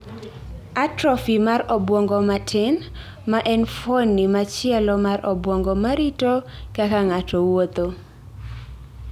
Atrophy mar obwongo matin, ma en fuoni machielo mar obwongo ma rito kaka ng�ato wuotho.